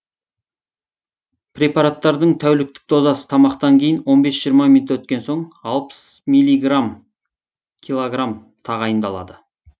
препараттың тәуліктік дозасы тамақтан кейін он бес жиырма минут өткен соң алпыс миллиграмм килограмм тағайындалады